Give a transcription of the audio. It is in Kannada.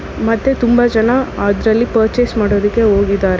ಮತ್ತೆ ತುಂಬಾ ಜನ ಅದರಲ್ಲಿ ಪರ್ಚೇಸ್ ಮಾಡೋದಕ್ಕೆ ಹೋಗಿದ್ದಾರೆ.